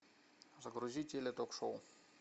загрузи теле ток шоу